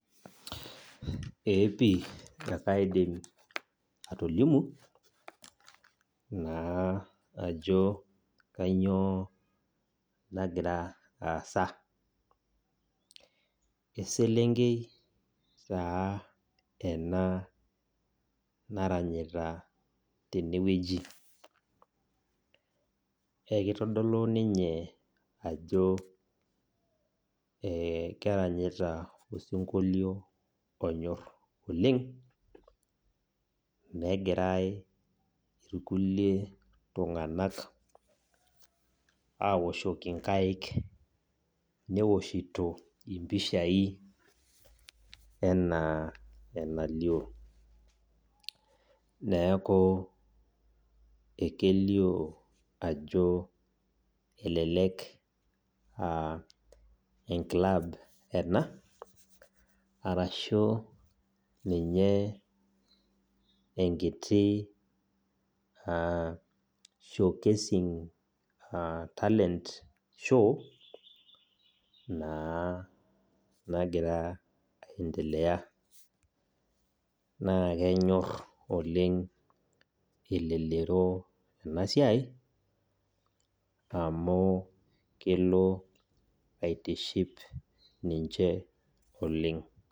Ee pi ekaidim atolimu, naa ajo kanyioo nagira aasa. Eselenkei taa ena naranyita tenewueji. Ekitodolu ninye ajo keranyita osinkolio onyor oleng, negirai irkulie tung'anak awoshoki nkaik, niwoshito impishai enaa enalio. Neeku kelio ajo elelek ah enklab ena, arashu ninye enkiti showcasing talent show, naa nagira aendelea. Naa kenyor oleng elelero enasiai, amu kelo aitiship ninche oleng.